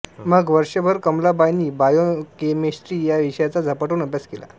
मग वर्षभर कमलाबाईंनी बायोकेमिस्ट्री या विषयाचा झपाटून अभ्यास केला